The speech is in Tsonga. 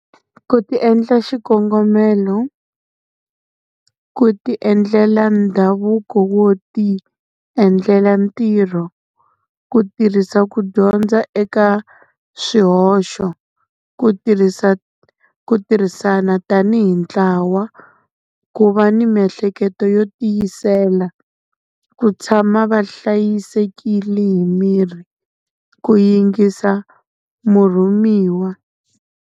Ku ti endla xikongomelo, ku ti endlela ndhavuko wo ti endlela ntirho, ku tirhisa ku dyondza eka swihoxo, ku ku tirhisana tanihi ntlawa, ku va ni miehleketo yo tiyisela, ku tshama va hlayisekile hi miri, ku yingisa murhumiwa.